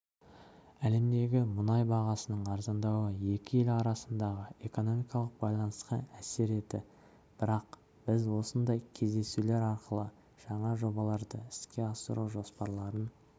әлемдегі мұнай бағасының арзандауы екі ел арасындағы экономикалық байланысқа әсер еті бірақ біз осындай кездесулер арқылы жаңа жобаларды іске асыру жоспарларын